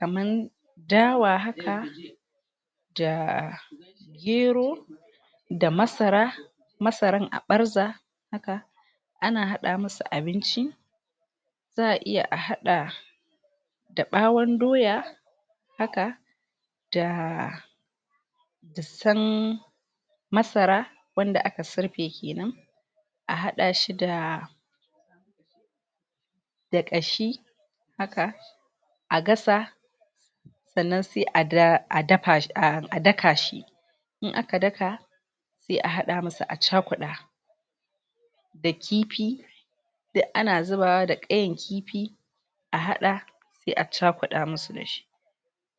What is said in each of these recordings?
kaman dawa haka da gero da masara masaran a ɓarza haka ana hada musu abinci. Za'a iya a haɗa da ɓawon doya haka da tan masara wanda aka surfe kenan, a hada shi da da ƙashi haka a gasa sannan sai a da a dafa a daka shi. In aka daka sai a hada musu a cakuɗa da kifi duk ana zubawa da ƙayan kifi a haɗa, sai a cakuɗa musu da shi.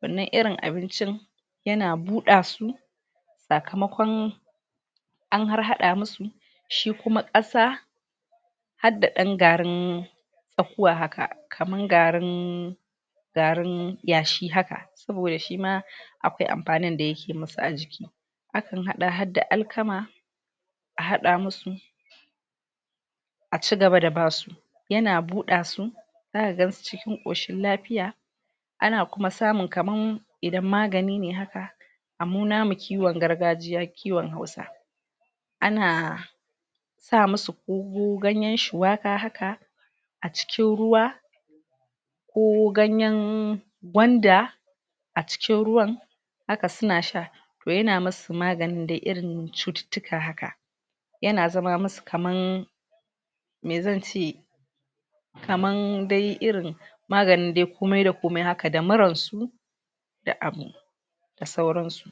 Wannan irin abincin ya na buɗa su sakamakon an har haɗa musu. Shi kuma ƙasa hadda ɗan garin zakkuwa haka, kaman garin garin yashi haka, saboda shima akwai amfanin da ya ke musu a jiki. A kan haɗa hadda alkama a hada musu a cigaba da basu. Ya na buɗa su, za ka gan su cikin ƙoshin lafiya. Ana kuma samun kaman idan magani ne haka a mu namu kiwon gargajiya kiwon hausa, ana sa musu ko ganyen shuwaka haka a cikin ruwa ko ganyen gwanda a cikin ruwan haka su na sha to ya na musu maganin dai irin cututtuka haka. Ya na zama musu kaman me zan ce kaman dai irin, maganin dai komai-da-komai haka da murar su da abu da sauran su.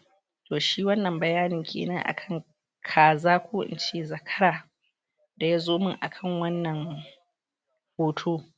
To shi wannan bayanin kenan akan kaza ko in ce zakara da ya zo mun kana wannan hoto.